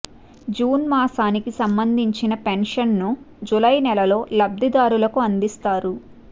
June మాసానికి సంబంధించిన pension ను జూలై నెలలో లబ్దిదారులకు అందిస్తారు